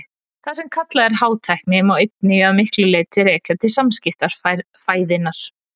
það sem kallað er hátækni má einmitt að miklu leyti rekja til skammtafræðinnar